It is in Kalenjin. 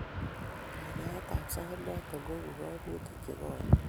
Kanyaeet ab saaitnoton koibu kaimutik chekoeen